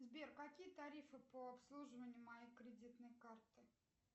сбер какие тарифы по обслуживанию моей кредитной карты